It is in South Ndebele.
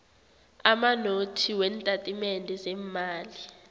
amanothi weentatimende zeemali